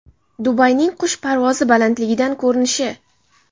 Dubayning qush parvozi balandligidan ko‘rinishi.